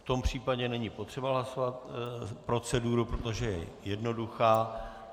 V tom případě není potřeba hlasovat proceduru, protože je jednoduchá.